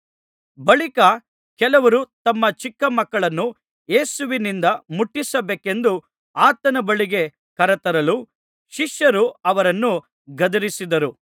ಬಳಿಕ ಕೆಲವರು ತಮ್ಮ ಚಿಕ್ಕ ಮಕ್ಕಳನ್ನು ಯೇಸುವಿನಿಂದ ಮುಟ್ಟಿಸಬೇಕೆಂದು ಆತನ ಬಳಿಗೆ ಕರತರಲು ಶಿಷ್ಯರು ಅವರನ್ನು ಗದರಿಸಿದರು